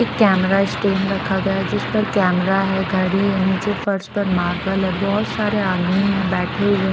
एक camera stand रखा गया जिस पर कैमरा है घड़ी है नीचे फर्स पर मार्बल है बहुत सारे आदमी है बैठे हुए--